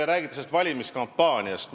Te räägite valimiskampaaniast.